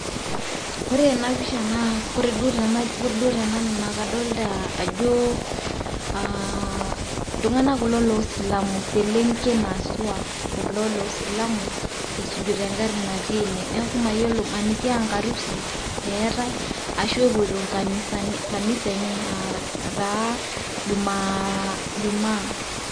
Kore ena pisha kore duo te nanu naa kadolita ajo aa iltung'anak kulo lo silamu, selenken haswa kulo loo silamu esujita eng'ari natii ene. Neeku mayiolo maniki a nkarusi eetai ashu a epoito nkanisani kanisa enye aa taa jumaa ijumaa.